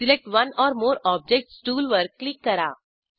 select one or more objects टूलवर click करा